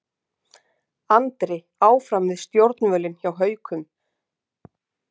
Andri áfram við stjórnvölinn hjá Haukum